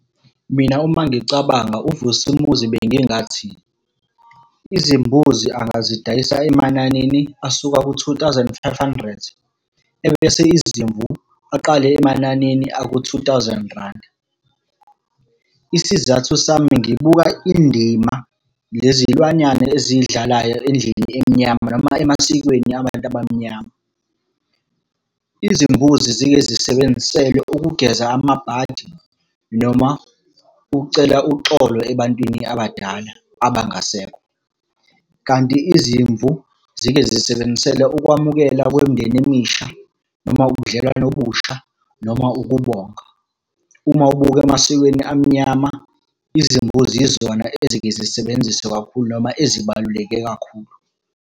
Mina uma ngicabanga uVusimuzi bengingathi, izimbuzi angazidayisa emananini asuka ku-two thousand five hundred. Ebese izimvu aqale emananini aku-two thousand randi. Isizathu sami ngibuka indima, lezi iy'lwanyana ezidlalayo endlini emnyama noma emasikweni abantu abamnyama. Izimbuzi zike zisebenziselwe ukugeza amabhadi noma ukucela uxolo ebantwini abadala abangasekho. Kanti izimvu zike zisebenzisela ukwamukela kwemindeni emisha noma ubudlelwano obusha, noma ukubonga. Uma ubuke emasikweni amnyama, izimbuzi yizona ezike zisebenziswe kakhulu noma ezibaluleke kakhulu.